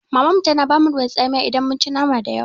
Mamanmu tana ba mu ruwan tsamiya idan mun ci nama dayawa.